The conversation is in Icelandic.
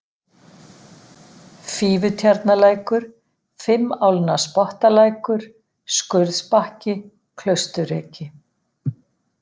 Fífutjarnalækur, Fimmálnaspottalækur, Skurðsbakki, Klausturreki